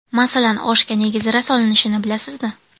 Masalan, oshga nega zira solinishini bilasizmi?